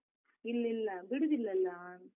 ಇಲ್ಲಿಲ್ಲ, ಬಿಡುದಿಲ್ಲಲ್ಲ?